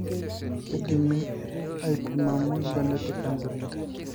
kridimi aipimaimu genetec counselling